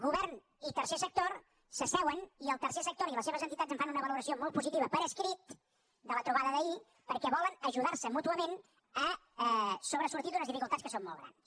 govern i tercer sector s’asseuen i el tercer sector i les seves entitats en fan una valoració molt positiva per escrit de la trobada d’ahir perquè volen ajudar se mútuament a sobresortir d’unes dificultats que són molt grans